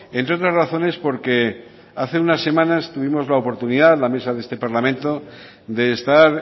entre otras razones porque hace unas semanas tuvimos la oportunidad la mesa de este parlamento de estar